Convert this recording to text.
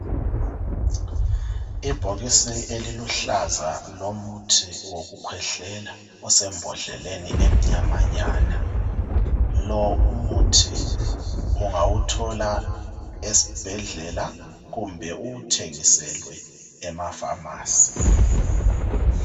Ebhokisi eliluhlaza lomuthi wokukhwehlela osembodleleni emnyamanyana lo umuthi ungawuthola esibhedlela kumbe uwuthengiselwe ema Famasi.